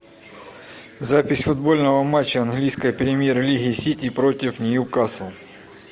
запись футбольного матча английской премьер лиги сити против нью касл